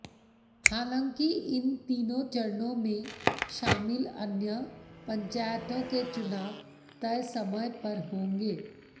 हालांकि इन तीनों चरणों में शामिल अन्य पंचायतों के चुनाव तय समय पर होंगे